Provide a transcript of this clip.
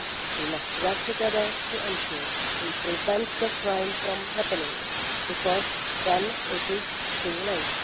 We must work together to ensure we prevent the crime from happening because then it is too late.